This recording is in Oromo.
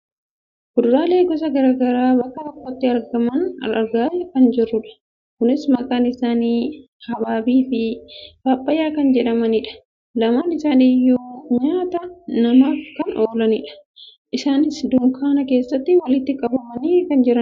kuduraalee gosa gara garaa bakka tokkotti argaman argaa kan jirrudha. kunis maqaan isaanii habaabii fi paappayyaa kan jedhamanidha. lamaan isaanii iyyuu nyaata namaaf kan oolanidha. isaanis dunkaana keessatti walitti qabamanii kan jiranidha.